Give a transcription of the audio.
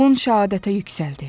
Oğlun şəhadətə yüksəldi.